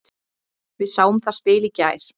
Við sáum það spil í gær.